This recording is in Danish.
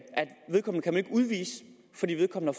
kan udvises fordi vedkommende